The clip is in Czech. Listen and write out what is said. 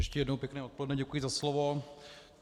Ještě jednou pěkné odpoledne, děkuji za slovo.